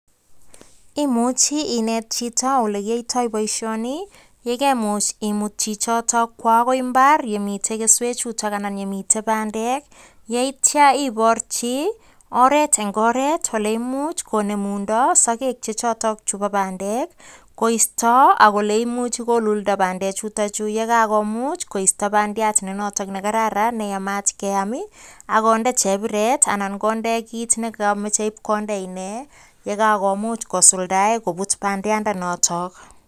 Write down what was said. Imuchi ineet chito ole kiyaitoi boisioni, ye kemuch imuut chichoto kwo akoi imbaar yemitei keswchuto anan ye mitei bandek, yeityo iporchi oret eng oret ole imuch konemundoi sokek chechotok chebo bandek koisto ak ole imuchi koluldo bandek chutokchu ye kakomuch koisto bandiat nenoto kokararan neyamat keaam akondee chepiret anan kondee kiit nekameche ipkondee inee ye kakomuch kosuldae kopuut bandianotok.